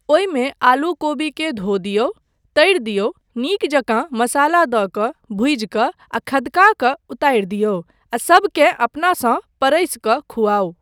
ओहिमे आलू कोबीकेँ धो दियौ, तरि दियौ, नीक जकाँ मसाला दऽ कऽ भुजि कऽ आ खदका कऽ उतारि दियौ आ सभकेँ अपनासँ परसि कऽ खुआउ ।